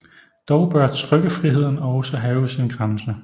Dog bør trykkefriheden også have sin grænse